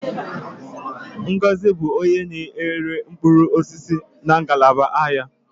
Ngọzi bụ onye na-ere mkpụrụ osisi na ngalaba ahịa a.